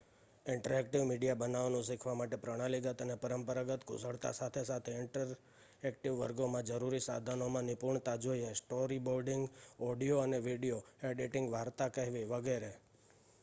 interactive media બનાવવાનું શીખવા માટે પ્રણાલીગત અને પરંપરાગત કુશળતા સાથે સાથે ઇન્ટરેક્ટિવ વર્ગોમાં જરૂરી સાધનોમાં નિપુણતા જોઈએ સ્ટોરીબોર્ડિંગ ઓડિયો અને વિડિઓ એડિટિંગ વાર્તા કહેવી વગેરે